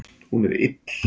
Hún er ill